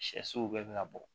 Sɛsow bɛ ka bɔ